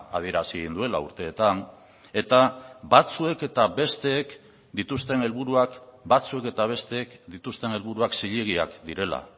adierazi egin duela urteetan eta batzuek eta besteek dituzten helburuak batzuk eta besteek dituzten helburuak zilegiak direla